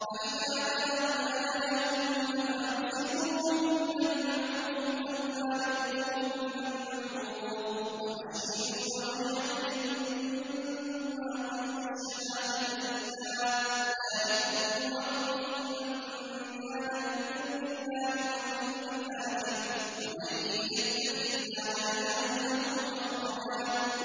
فَإِذَا بَلَغْنَ أَجَلَهُنَّ فَأَمْسِكُوهُنَّ بِمَعْرُوفٍ أَوْ فَارِقُوهُنَّ بِمَعْرُوفٍ وَأَشْهِدُوا ذَوَيْ عَدْلٍ مِّنكُمْ وَأَقِيمُوا الشَّهَادَةَ لِلَّهِ ۚ ذَٰلِكُمْ يُوعَظُ بِهِ مَن كَانَ يُؤْمِنُ بِاللَّهِ وَالْيَوْمِ الْآخِرِ ۚ وَمَن يَتَّقِ اللَّهَ يَجْعَل لَّهُ مَخْرَجًا